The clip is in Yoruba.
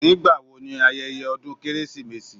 Nígbà wo ni ayẹyẹ ọdún Kérésìmesì